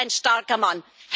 Das ist ein starker Mann.